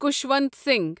Khushwant Singh